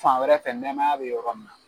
Fan wɛrɛ fɛ nɛɛmaya bɛ yɔrɔ min na